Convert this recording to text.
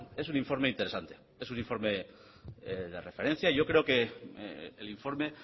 es un informe interesante es un informe de referencia y yo creo que el informe